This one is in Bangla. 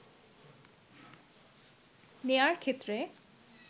নেওয়ার ক্ষেত্রে